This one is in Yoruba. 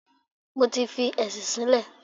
Mo ti fi ẹ̀sìn sílẹ̀.